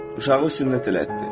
Uşağı sünnət elətdir.